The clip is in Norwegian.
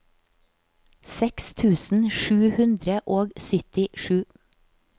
seks tusen sju hundre og syttisju